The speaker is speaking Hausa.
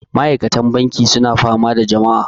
Ma'aikatan banki suna fama da jama'a